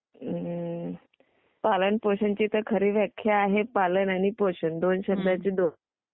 पालन पोषण ची तर खरी व्याख्या आहे पालन आणि पोषण दोन शब्दांची जोड.